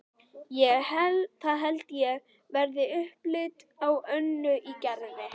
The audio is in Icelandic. Það held ég verði upplit á Önnu í Gerði.